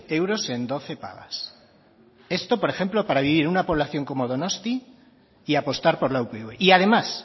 euros en doce pagas esto por ejemplo para vivir en una población como donostia y apostar por la upv y además